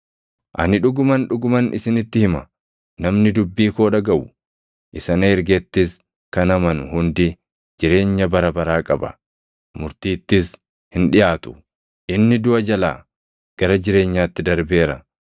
“Ani dhuguman, dhuguman isinitti hima; namni dubbii koo dhagaʼu, isa na ergettis kan amanu hundi jireenya bara baraa qaba; murtiittis hin dhiʼaatu; inni duʼa jalaa gara jireenyaatti darbeera.